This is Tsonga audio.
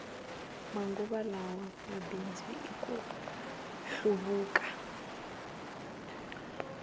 manguva lawa mabindzu i ku hluvuka